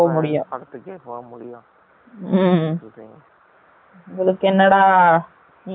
உங்கலுக்கு என்ன டா நீங்க பேசிருவீங்க கூடிடு போரது நான் தான டா?!